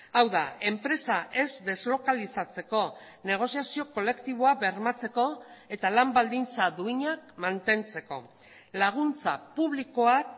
hau da enpresa ez deslokalizatzeko negoziazio kolektiboa bermatzeko eta lan baldintza duinak mantentzeko laguntza publikoak